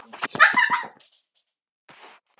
Jón sýndi eina mynd eftir árið.